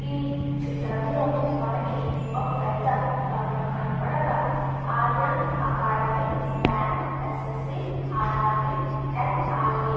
విచిత్రంలో మనకు ఒక పెద్ద భవనం కనబడగా ఆర్య అకాడమీ --